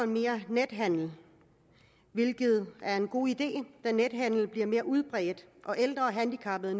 mere nethandel hvilket er en god idé da nethandel bliver mere udbredt og ældre og handicappede